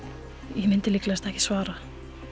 ég myndi líklegast ekki svara